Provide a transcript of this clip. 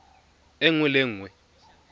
e nngwe le e nngwe